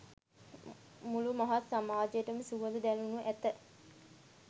මුළු මහත් සමාජයටම සුවඳ දැනෙනු ඇත.